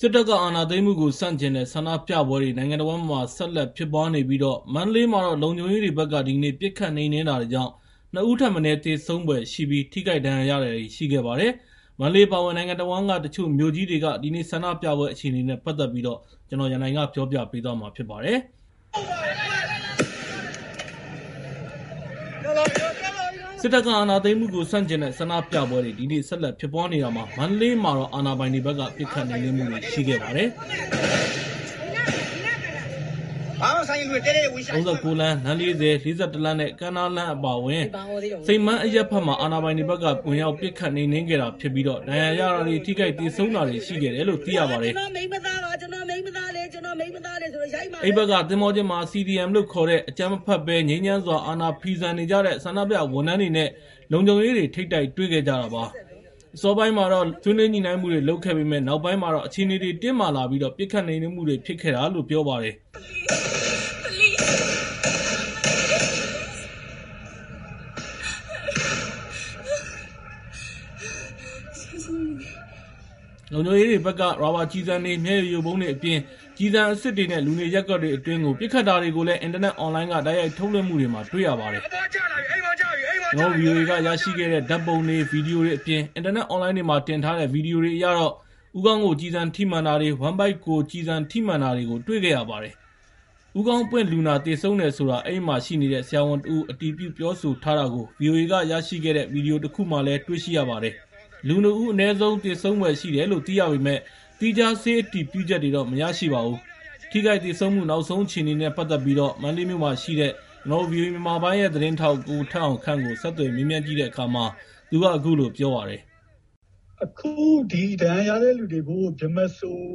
စစ်တပ်အာဏာသိမ်းမှုကို ဆန့်ကျင်တဲ့ ဆန္ဒပြပွဲတွေ နိုင်ငံတဝန်းမှာ ဆက်လက်ဖြစ်ပွားနေပြီး မန္တလေးမှာတော့ လုံခြုံရေးတပ်တွေဘက်က ဒီကနေ့ ပစ်ခတ်နှိမ်နင်းတာတွေကြောင့် ၂ ဦးထက်မနည်း သေဆုံးဖွယ်ရှိပြီး ထိခိုက်ဒဏ်ရာရတာတွေလည်း ရှိခဲ့ပါတယ်။ မန္တလေး အပါအဝင် နိုင်ငံတဝန်းက တချို့မြို့ကြီးတွေက ဒီနေ့ ဆန္ဒပြပွဲ အခြေအနေတွေနဲ့ ပတ်သက်ပြီး ကိုရန်နိုင် စုစည်းတင်ပြထားပါတယ်။ စစ်တပ်က အာဏာသိမ်းမှုကို ဆန့်ကျင်တဲ့ ဆန္ဒပြပွဲတွေ ဒီနေ့ ဆက်လက်ဖြစ်ပွားနေတာမှာ မန္တလေးမှာတော့ အာဏာပိုင်တွေဘက်က ပစ်ခတ်နှိမ်နင်းမှုတွေ ရှိခဲ့ပါတယ်။ ၃၉ လမ်း၊ လမ်း ၄၀၊ ၄၁ လမ်းနဲ့ ကမ်းနားလမ်းနဲ့ စိန်ပန်းအရပ်ဘက်မှာ အာဏာပိုင်တွေဘက်က ဝင်ရောက်ပစ်ခတ် နှိမ်နင်းခဲ့တာဖြစ်ပြီး ဒဏ်ရာရတာတွေ ထိခိုက်သေဆုံးတာတွေ ရှိတယ်လို့လည်း သိရပါတယ်။ အဲဒီဘက်က သင်္ဘောကျင်းမှာ CDM လို့ခေါ်တဲ့ အကြမ်းမဖက်ဘဲ ငြိမ်းချမ်းစွာ အာဏာဖီဆန်နေကြတဲ့ ဆန္ဒပြဝန်ထမ်းတွေနဲ့ လုံခြုံရေးတွေ ထိပ်တိုက်တွေ့ခဲ့ကြတာပါ။ အစောပိုင်းမှာတော့ ဆွေးနွေးညှိနှိုင်းမှုတွေ လုပ်ခဲ့ပေမယ့် နောက်ပိုင်းမှာတော့ အခြေအနေတွေက တင်းမာလာပြီး ပစ်ခတ်နှိမ်နင်းမှုတွေ ဖြစ်ခဲ့တာလို့လည်း ပြောပါတယ်။ လုံခြုံရေးတွေဘက်က ရာဘာကျည်ဆန်တွေ၊ မျက်ရည်ယိုဗုံးတွေအပြင် ကျည်ဆန်အစစ်တွေနဲ့ လူနေရပ်ကွက်တွေ အတွင်းကို ပစ်ခတ်တာတွေလည်း အင်တာနက် အွန်လိုင်းက တိုက်ရိုက်ထုတ်လွှင့်မှုတွေမှာ တွေ့ရပါတယ်။ ဗွီအိုအေကရရှိတဲ့ ဓာတ်ပုံ ဗွီဒီယိုတွေအပြင် အင်တာနက် အွန်လိုင်းတွေမှာ တင်ထားတဲ့ ဗွီဒီယိုတွေအရတော့ ဦးခေါင်းကို ကျည်ဆန်ထိမှန်ထားတာတွေ၊ ဝမ်းဗိုက်ကို ကျည်ဆန်ထိမှန်တာတွေကို တွေ့ခဲ့ရပါတယ်။ ဦးခေါင်းပွင့်လူနာ သေဆုံးတယ်ဆိုတာ အဲဒီမှာရှိနေတဲ့ ဆရာဝန်တဦး အတည်ပြု ပြောဆိုထားတာကို ဗွီအိုအေကရရှိတဲ့ ဗွီဒီယိုတခုမှာ တွေ့ရပါတယ်။ အနည်းဆုံး လူ ၂ ဦး သေဆုံးဖွယ် ရှိတယ်လို့ သိရပေမယ့် သီးခြား ဆေးအတည်ပြုချက်တွေ မရရှိပါဘူး။ ထိခိုက်သေဆုံးမှု နောက်ဆုံးအခြေအနေနဲ့ ပတ်သက်ပြီး မန္တလေးမြို့မှာရှိတဲ့ ဗွီအိုအေမြန်မာပိုင်းရဲ့ သတင်းထောက် ကိုထက်အောင်ခန့်ကို ဆက်သွယ်မေးမြန်းကြည့်တဲ့အခါမှာ သူက အခုလိုပြောပါတယ်။ “အခု ဒဏ်ရာရတဲ့လူတွေကို ဗြဟ္မစိုရ်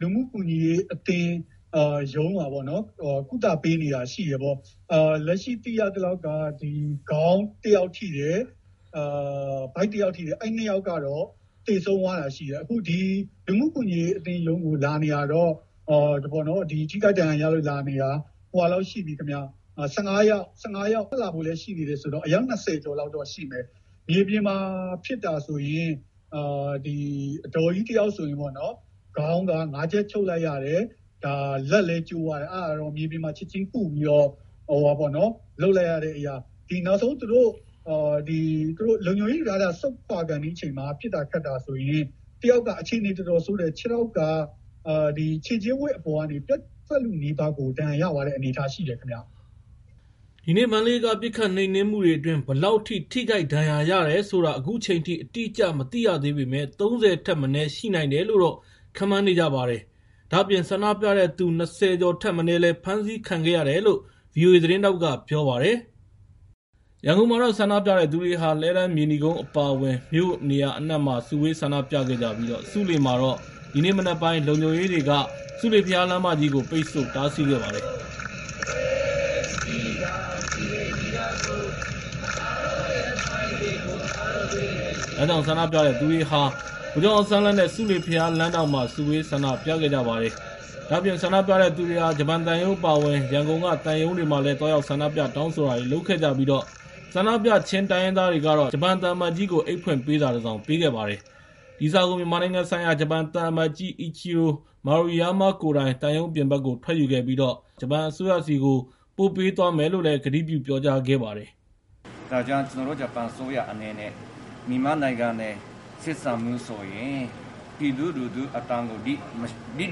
လူမှုကူညီရေးအသင်း ရုံးမှာ ကုသပေးနေတာရှိတယ်။ လက်ရှိသိရသလောက်က ခေါင်းတယောက်ထိတယ်၊ ဗိုက်တယောက်ထိတယ်။ အဲဒီနှစ်ယောက်ကတော့ သေဆုံးသွားတာရှိတယ်။ အခု ဒီလူမှုကူညီရေးအသင်းရုံးကို ထိခိုက်ဒဏ်ရာရလို့ လာနေတာ ၁၅ ယောက်လောက် ရှိပြီ။ ထပ်လာဖို့လည်း ရှိတယ်ဆိုတော့ အယောက် ၂၀ ကျော်လောက်တော့ ရှိမယ်။ မြေပြင်မှာ ဖြစ်တာဆိုရင် အဒေါ်ကြီးတယောက် ခေါင်းမှာ ၅ ချက် ချုပ်လိုက်ရတယ်။ လက်လည်းကျိုးသွားတယ်။ အဲဒါတော့ မြေပြင်မှာ ချက်ချင်းကုပြီးတော့ လုပ်လိုက်ရတာ။ နောက်ဆုံး သူတို့ လုံခြုံရေးယူထားတာ စွန့်ခွာခါနီးအချိန်မှာ ပစ်တာခတ်တာဆိုရင် တယောက်က အခြေအနေ တော်တော်ဆိုးတယ်။ ခြေထောက်က ခြေချင်းဝတ်အပေါ်ကနေ ပြတ်လုနီးပါး ဒဏ်ရာရသွားတဲ့ အနေအထား ရှိတယ်။” ဒီနေ့ မန္တလေးက ပစ်ခတ်နှိမ်နင်းမှုတွေအတွင်း ဘယ်လောက်အထိ ထိခိုက်ဒဏ်ရာရတယ်ဆိုတာ အခုချိန်ထိ အတိအကျ မသိရသေးပေမယ့် ၃၀ ထက်မနည်း ရှိနိုင်တယ်လို့ ခန့်မှန်းနေကြပါတယ်။ ဒါ့အပြင် ဆန္ဒပြတဲ့သူ ၂၀ ကျော်ထက်မနည်း ဖမ်းဆီးခံခဲ့ရတယ်လို့လည်း ဗွီအိုအေသတင်းထောက်က ပြောပါတယ်။ ရန်ကုန်မှာတော့ ဆန္ဒပြတဲ့သူတွေဟာ လှည်းတန်း၊ မြေနီကုန်း အပါအဝင် မြို့နေရာအနှံ့မှာ စုဝေးဆန္ဒပြခဲ့ကြပြီး ဆူးလေမှာတော့ ဒီနေ့မနက်ပိုင်းက လုံခြုံရေးတွေက ဆူးလေဘုရားလမ်းမကြီးကို ပိတ်ဆို့တားဆီးခဲ့ပါတယ်။ ဒါကြောင့် ဆန္ဒပြတဲ့သူတွေဟာ ဗိုလ်ချုပ်အောင်ဆန်းလမ်းနဲ့ ဆူးလေဘုရားလမ်းထောင့်မှာ စုဝေးပြီး ဆန္ဒပြခဲ့ကြပါတယ်။ ဒါ့အပြင် ဆန္ဒပြတဲ့သူတွေဟာ ဂျပန်သံရုံး အပါအဝင် ရန်ကုန်က သံရုံးတွေရှေ့မှာလည်း သွားရောက် ဆန္ဒပြတောင်းဆိုတာတွေ လုပ်ခဲ့ကြပြီး ဆန္ဒပြ ချင်းတိုင်းရင်းသားတွေကတော့ ဂျပန်သံအမတ်ကြီးကို အိတ်ဖွင့်ပေးစာတစောင် ပေးခဲ့ပါတယ်။ ဒီစာကို မြန်မာနိုင်ငံဆိုင်ရာ ဂျပန်သံအမတ်ကြီး Ichiro Mayurama ကိုယ်တိုင် သံရုံးအပြင်ဘက်ကို ထွက်ယူခဲ့ပြီး ဂျပန်အစိုးရဆီကို ပို့ပေးသွားမယ်လို့ ကတိပြုပြောကြားခဲ့ပါတယ်။ “ကျနော်တို့ ဂျပန်အစိုးရအနေနဲ့ မြန်မာနိုင်ငံနဲ့ ဆက်ဆံမှုဆိုရင် ပြည်သူလူထုအသံကို လျစ်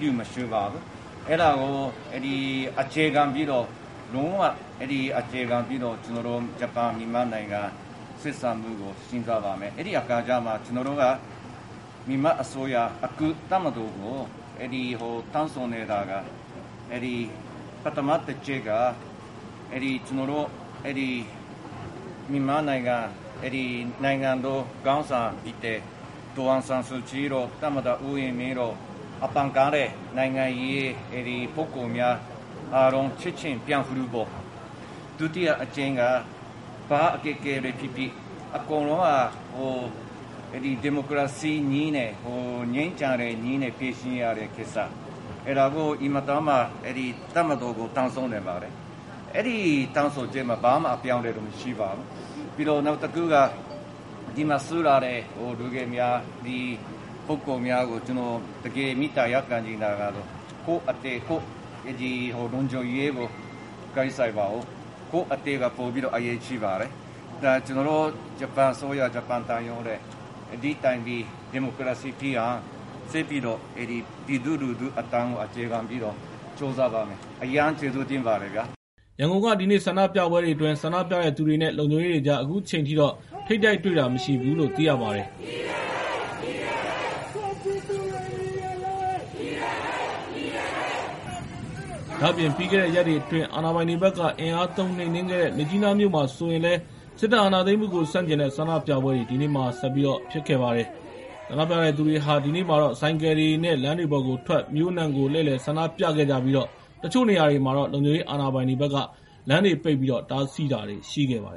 လျူမရှုပါဘူး။ အဲဒါကို လုံးဝ အခြေခံပြီးတော့ ဂျပန်-မြန်မာနိုင်ငံ ဆက်ဆံမှုကို စဉ်းစားပါမယ်။ အဲဒီအခါကျမှ ကျနော်တို့က မြန်မာအစိုးရ အခု တပ်မတော်ကို တောင်းဆိုနေတာ ပထမတချက်က မြန်မာနိုင်ငံ ခေါင်းဆောင်ဖြစ်တဲ့ ဒေါ်အောင်ဆန်းစုကြည်တို့ သမ္မတ ဦးဝင်းမြင့်တို့ အဖမ်းခံရတဲ့ နိုင်ငံရေးပုဂ္ဂိုလ်များအားလုံး ချက်ချင်း ပြန်လွှတ်ဖို့။ ဒုတိယအချက်က ဘာအခက်အခဲတွေဖြစ်ဖြစ် အကုန်လုံးက ဒီမိုကရေစီနည်းနဲ့ ငြိမ်းချမ်းတဲ့နည်းနဲ့ ဖြေရှင်းရတဲ့ကိစ္စ။ အဲဒါကို တပ်မတော်ကို တောင်းဆိုနေပါတယ်။ အဲဒီတောင်းဆိုချက်မှာ ဘာမှအပြောင်းအလဲတော့ မရှိပါဘူး။ ပြီးတော့ နောက်တခုက ဒီမှာစုလာတဲ့ လူငယ်များ ပုဂ္ဂိုလ်များကို ကျနော် မေတ္တာရပ်ခံချင်တာကတော့ ကိုယ့်အသက် ကိုယ့်လုံခြုံရေးကို ဂရုစိုက်ပါဦး။ ကိုယ့်အသက်က ပိုပြီး အရေးကြီးပါတယ်။ ဒါ ကျနော်တို့ ဂျပန်အစိုးရ ဂျပန်သံရုံးရဲ့ ဒီတိုင်းပြည် ဒီမိုကရေစီဖြစ်အောင် ဆက်ပြီးတော့ ပြည်သူလူထုအသံကို အခြေခံပြီးတော့ ကြိုးစားပါမယ်။ အရမ်းကျေးဇူးတင်ပါတယ်။” ရန်ကုန်က ဒီနေ့ဆန္ဒပြပွဲတွေအတွင်း ဆန္ဒပြတဲ့သူတွေနဲ့ လုံခြုံရေးတွေကြား အခုချိန်ထိ ထိပ်တိုက်တွေ့တာ မရှိဘူးလို့ သိရပါတယ်။ ဒါ့အပြင် ပြီးခဲ့တဲ့ရက်တွေအတွင်း အာဏာပိုင်တွေဘက်က အင်အားသုံး နှိမ်နင်းခဲ့တဲ့ မြစ်ကြီးနားမြို့မှာလည်း စစ်တပ်အာဏာသိမ်းမှုကို ဆန့်ကျင်တဲ့ ဆန္ဒပြပွဲတွေ ဒီနေ့မှာ ဆက်ပြီး ဖြစ်ပွားခဲ့ပါတယ်။ ဆန္ဒပြတဲ့သူတွေဟာ ဒီနေ့မှာတော့ ဆိုင်ကယ်တွေနဲ့ လမ်းပေါ်ထွက်ပြီးတော့ မြို့အနှံ့ကို လှည့်လည် ဆန္ဒပြခဲ့ကြပြီး တချို့နေရာတွေမှာတော့ လုံခြုံရေးအာဏာပိုင်တွေက လမ်းတွေပိတ်ပြီး တားဆီးထားတာတွေ ရှိခဲ့ပါတယ်